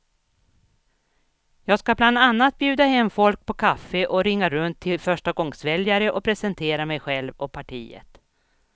Jag ska bland annat bjuda hem folk på kaffe och ringa runt till förstagångsväljare och presentera mig själv och partiet.